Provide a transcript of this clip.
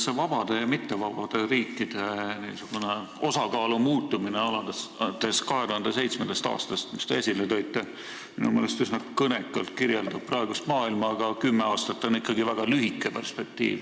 See vabade ja mittevabade riikide osakaalu muutumine alates 2007. aastast, mis te esile tõite, kirjeldab minu meelest üsna kõnekalt praegust maailma, aga kümme aastat on ikkagi väga lühike perspektiiv.